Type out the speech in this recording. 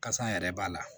Kasa yɛrɛ b'a la